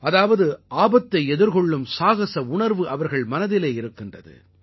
அதாவது ஆபத்தை எதிர்கொள்ளும் சாகஸ உணர்வு அவர்கள் மனதிலே இருக்கிறது